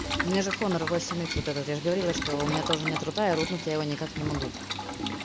у меня же хонор восемь икс вот этот я же говорила что у меня тоже нет рута и рутнуть я его никак не могу